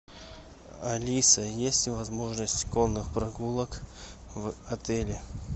алиса есть ли возможность конных прогулок в отеле